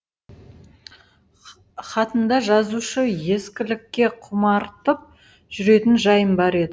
хатында жазушы ескілікке құмартып жүретін жайым бар еді